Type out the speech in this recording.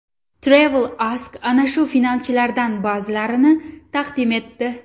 TravelAsk ana shu finalchilardan ba’zilarini taqdim etdi .